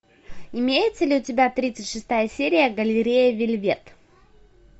имеется ли у тебя тридцать шестая серия галерея вельвет